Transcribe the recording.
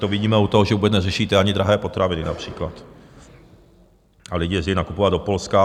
To vidíme i u toho, že vůbec neřešíte ani drahé potraviny například a lidé jezdí nakupovat do Polska.